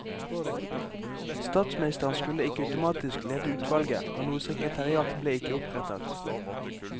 Statsministeren skulle ikke automatisk lede utvalget, og noe sekretariat ble ikke opprettet.